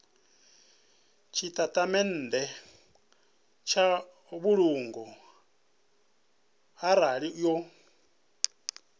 tshitatamennde tsha mbulungo arali yo